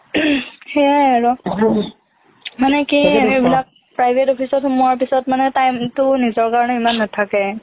সেইয়াই আৰু মানে কি এইবিলাক private office ত সোমোৱাৰ পিছত মানে time টো নিজৰ কাৰণে ইমান নেথাকে